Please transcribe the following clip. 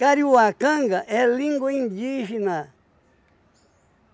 Kariuacanga é língua indígena.